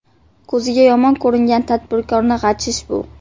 Ko‘ziga yomon ko‘ringan tadbirkorni g‘ajish bu.